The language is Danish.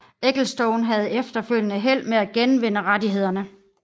Ecclestone havde efterfølgende held med at genvinde rettighederne